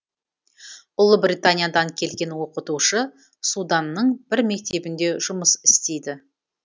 ұлыбританиядан келген оқытушы суданның бір мектебінде жұмыс істейді